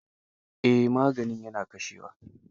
Eh, maganin ya na kashe wa.